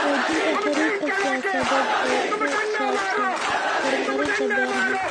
Xoojinta xiriirka siyaasadeed ee ku saabsan horumarinta beeraha.